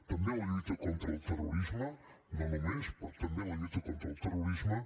també en la lluita contra el terrorisme no només però també en la lluita contra el terrorisme